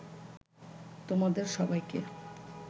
তোমাদের সবাইকে